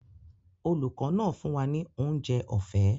Olùkọ́ náà fún wa ní oúnjẹ ọ̀fẹ́